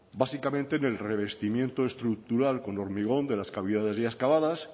básicamente en el revestimiento estructural con hormigón de las cavidades ya excavadas